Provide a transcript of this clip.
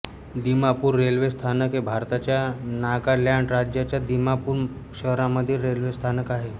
Dimapur railway स्थानक हे भारताच्या नागालॅंड राज्याच्या दिमापूर शहरामधील रेल्वे स्थानक आहे